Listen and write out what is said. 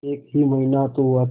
एक ही महीना तो हुआ था